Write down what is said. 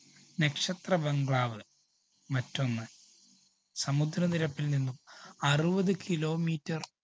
നക്ഷത്ര bungalow വ് മറ്റൊന്ന് സമുദ്രനിരപ്പില്‍ നിന്നും അറുപത്‌ kilometer